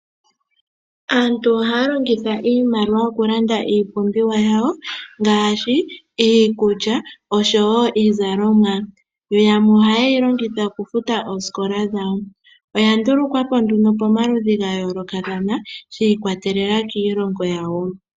Aantu ohaa longitha iimaliwa okulanda iipumbiwa yawo ngaashi iikulya oshowo iizalomwa oya ndulukwa po nduno pomaludhi ga yoolokathana shi ikwatelela kiilongo yawo.